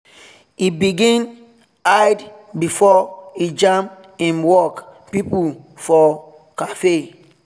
e begin hide before e jam him work people for cafe.